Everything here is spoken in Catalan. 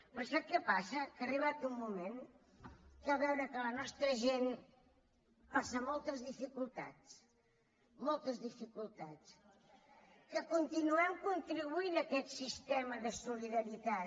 però sap què passa que ha arribat un moment que veure que la nostra gent passa moltes dificultats moltes dificultats que continuem contribuint a aquest sistema de solidaritat